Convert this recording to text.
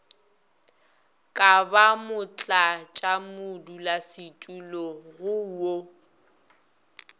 ka ba motlatšamodulasetulo go wo